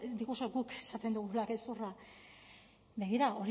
diguzue guk esaten dugula gezurra begira